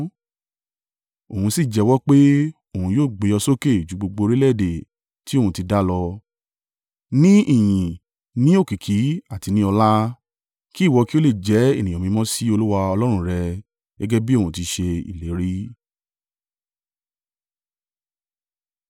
Òun sì jẹ́wọ́ pé, òun yóò gbé ọ sókè ju gbogbo orílẹ̀-èdè tí òun ti dá lọ, ní ìyìn, ní òkìkí àti ní ọlá; kí ìwọ kí ó le jẹ́ ènìyàn mímọ́ sí Olúwa Ọlọ́run rẹ gẹ́gẹ́ bí òun ti ṣe ìlérí.